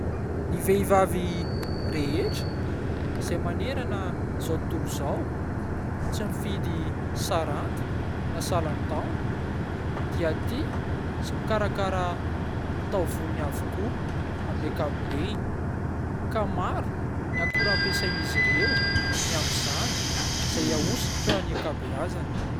Ny vehivavy rehetra izay manerana izao tontolo izao, tsy mifidy saranga na salan-taona dia tia sy mikarakara ny taovolony avokoa amin'ny ankapobeany ka maro ny akora ampiasain'izy ireo ny amin'izany izay ahosotra ny ankabeazany.